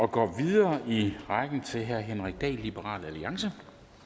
og går videre i rækken til herre henrik dahl liberal alliance